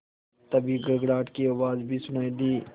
तभी गड़गड़ाहट की आवाज़ भी सुनाई दी